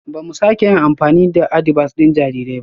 Ba mu sake yin amfani da adibas ɗin jarirai ba